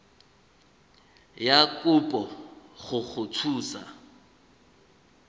ya kopo go go thusa